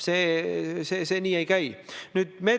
Head Riigikogu liikmed!